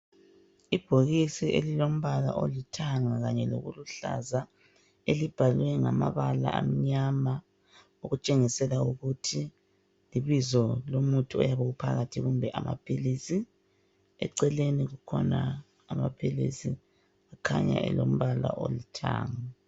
Ibhokisi elilombala olithanga kanye lokuhlaza, elibhalwe ngamabala amnyama okutshengisela ukuthi libizo lomuthi oyabe uphakathi kumbe amaphilisi. Eceleni kukhona amaphilisi kukhanya elombala olithanga.